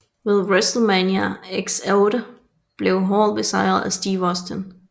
Ved WrestleMania X8 blev Hall besejret af Steve Austin